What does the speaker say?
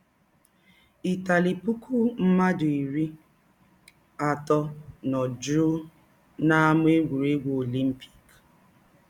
Ịtali “ Pụkụ mmadụ iri atọ nọ jụụ n’Ámá Egwụregwụ Ọlimpịk...